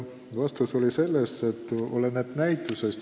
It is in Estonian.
Vastus oli, et oleneb konkreetsest näitajast.